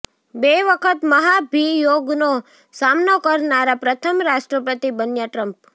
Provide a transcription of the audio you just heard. બે વખત મહાભિયોગનો સામનો કરનારા પ્રથમ રાષ્ટ્રપતિ બન્યા ટ્રમ્પ